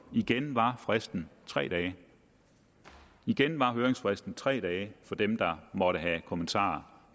og igen var fristen tre dage igen var høringsfristen tre dage for dem der måtte have kommentarer